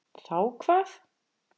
Þá hvað?